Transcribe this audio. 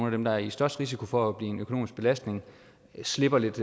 af dem der er i størst risiko for at blive en økonomisk belastning slipper lidt